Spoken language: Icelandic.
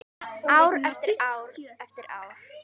Ár eftir ár eftir ár.